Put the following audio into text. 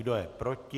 Kdo je proti?